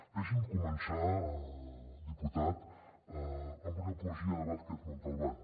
deixi’m començar diputat amb una poesia de vázquez montalbán